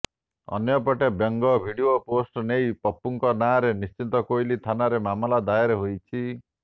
ଅନ୍ୟପଟେ ବ୍ୟଙ୍ଗ video post ନେଇ ପପୁଙ୍କ ନାଁରେ ନିଶ୍ଚିତକୋଇଲି ଥାନାରେ ମାମଲା ଦାଏର ହୋଇଛି